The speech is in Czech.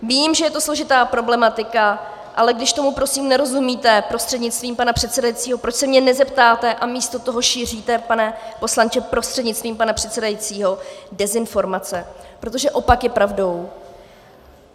Vím, že je to složitá problematika, ale když tomu prosím nerozumíte prostřednictvím pana předsedajícího, proč se mě nezeptáte a místo toho šíříte, pane poslanče prostřednictvím pana předsedajícího, dezinformace, protože opak je pravdou.